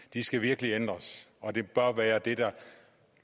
de skal virkelig ændres og det bør være det der